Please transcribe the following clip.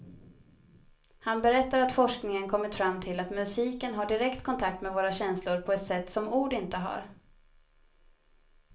Han berättar att forskningen kommit fram till att musiken har direkt kontakt med våra känslor på ett sätt som ord inte har.